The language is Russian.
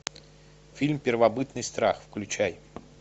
фильм первобытный страх включай